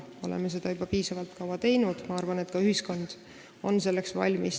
Me oleme seda juba piisavalt kaua teinud ja ma arvan, et ka ühiskond on selleks valmis.